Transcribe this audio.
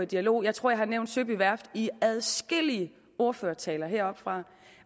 dialog jeg tror jeg har nævnt søby værft i adskillige ordførertaler heroppefra